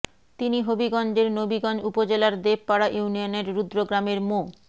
তিনি হবিগঞ্জের নবীগঞ্জ উপজেলার দেবপাড়া ইউনিয়নের রুদ্র গ্রামের মো